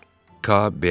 K B.